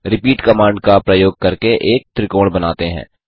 repeat command का प्रयोग करके एक त्रिकोण बनाते हैं